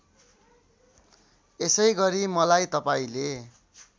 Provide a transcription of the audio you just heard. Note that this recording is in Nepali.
यसैगरी मलाई तपाईँले